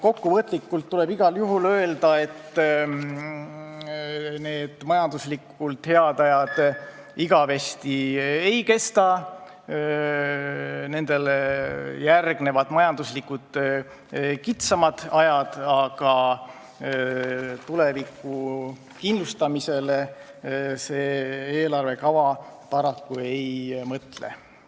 Kokkuvõtlikult tuleb igal juhul öelda, et majanduslikult head ajad igavesti ei kesta, nendele järgnevad kitsamad ajad, aga tuleviku kindlustamisele see eelarvekava paraku ei mõtle.